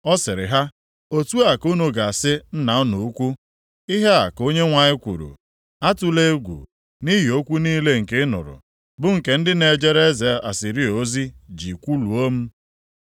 ọ sịrị ha, “Otu a ka unu ga-asị nna unu ukwu, ‘Ihe a ka Onyenwe anyị kwuru: Atụla egwu nʼihi okwu niile nke ị nụrụ, bụ nke ndị na-ejere eze Asịrịa ozi ji kwuluo m.